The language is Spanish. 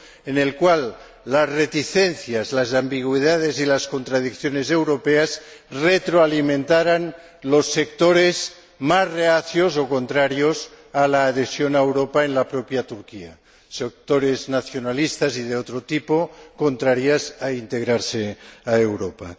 en el cual las reticencias, las ambigüedades y las contradicciones europeas retroalimentaran los sectores más reacios o contrarios a la adhesión a Europa en la propia Turquía, sectores nacionalistas o de otro tipo, contrarios a integrarse en Europa.